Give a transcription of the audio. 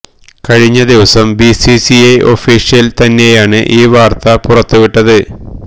കഴിഞ്ഞ ദിവസം BCCI official തന്നെയാണ് ഈ വാർത്ത പുറത്ത് വിട്ടത്